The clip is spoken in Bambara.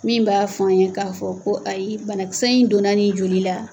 Min b'a f'an ɲɛ k'a fɔ ko ayi banakisɛ in donna ni joli la.